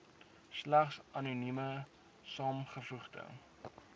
slegs anonieme saamgevoegde